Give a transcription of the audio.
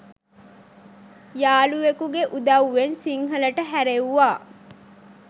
යාළුවෙකුගේ උදව්වෙන් සිංහලට හැරෙව්වා.